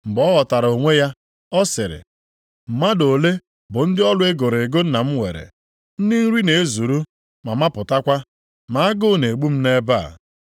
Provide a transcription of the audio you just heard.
“Mgbe ọ ghọtara onwe ya, ọ sịrị, ‘Mmadụ ole bụ ndị ọrụ e goro ego nna m nwere, ndị nri na-ezuru ma mapụtakwa, ma agụụ na-egbu m nʼebe a.